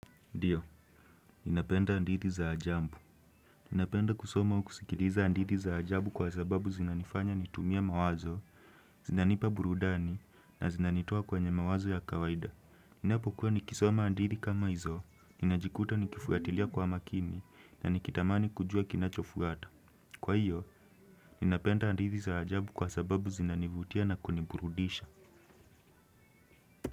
Ndiyo, ninapenda andithi za ajambu. Ninapenda kusoma kusikiriza andithi za ajabu kwa sababu zinanifanya nitumie mawazo, zinanipa burudani na zinanitoa kwenye mawazo ya kawaida. Ninapokuwa nikisoma andithi kama hizo, ninajikuta nikifuatilia kwa makini na nikitamani kujua kinacho fuata. Kwa hiyo, ninapenda andithi za ajabu kwa sababu zinanivutia na kuniburudisha.